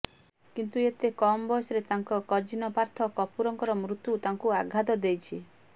କିନ୍ତୁ ଏତେ କମ ବୟସରେ ତାଙ୍କ କଜିନ ପାର୍ଥ କାପୁରଙ୍କର ମୃତ୍ୟୁ ତାଙ୍କୁ ଆଘାତ ଦେଇଛି